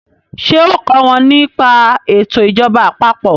ṣe o kò wón ní pa eto ìjọba àpapọ̀?